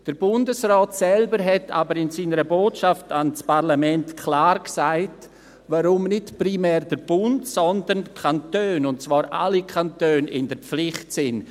Der Bundesrat selbst hat aber in seiner Botschaft an das Parlament klar gesagt, warum nicht primär der Bund, sondern die Kantone – und zwar alle Kantone – in der Pflicht sind.